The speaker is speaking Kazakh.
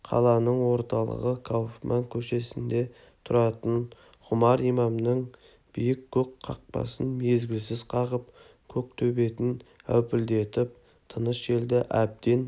қаланың орталығы кауфман көшесінде тұратын ғұмар имамның биік көк қақпасын мезгілсіз қағып көк төбетін әупілдетіп тыныш елді әбден